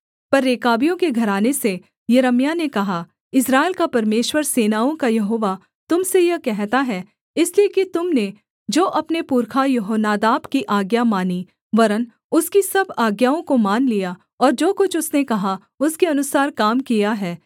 पर रेकाबियों के घराने से यिर्मयाह ने कहा इस्राएल का परमेश्वर सेनाओं का यहोवा तुम से यह कहता है इसलिए कि तुम ने जो अपने पुरखा यहोनादाब की आज्ञा मानी वरन् उसकी सब आज्ञाओं को मान लिया और जो कुछ उसने कहा उसके अनुसार काम किया है